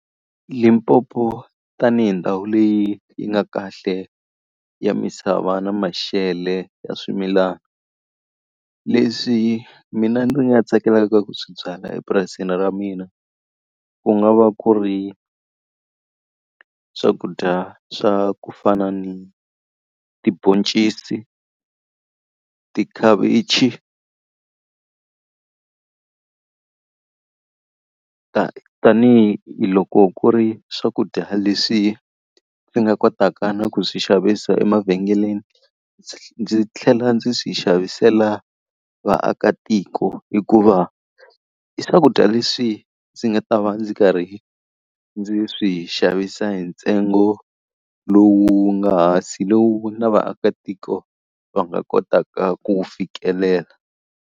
Limpopo tanihi ndhawu leyi yi nga kahle ya misava na mashele ya swimilana, leswi mina ndzi nga tsakelaka ku swi byala epurasini ra mina ku nga va ku ri swakudya swa ku fana ni tibhoncisi, tikhavichi Tanihi loko ku ri swakudya leswi ndzi nga kotaka na ku swi xavisa emavhengeleni, ndzi tlhela ndzi swi xavisela vaakatiko. Hikuva i swakudya leswi ndzi nga ta va ndzi karhi ndzi swi xavisa hi ntsengo lowu wu nga hansi lowu na vaakatiko va nga kotaka ku wu fikelela.